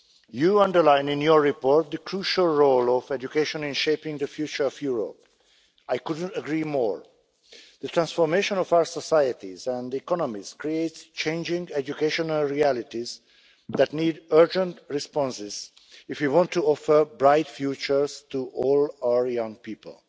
You underline in your report the crucial role of education in shaping the future of Europe. I couldn't agree more. The transformation of our societies and economies creates changing education realities that need urgent responses if we want to offer bright futures to all our young people.